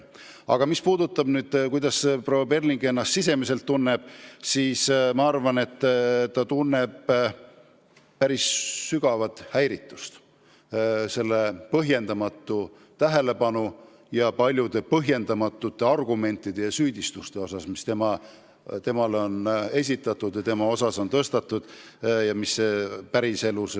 Mis aga puudutab seda, kuidas proua Perling ennast tunneb, siis ma arvan, et ta tunneb päris sügavat häiritust selle põhjendamatu tähelepanu, paljude põhjendamatute argumentide ja süüdistuste pärast, mis talle on esitatud ja mis ei vasta tõele.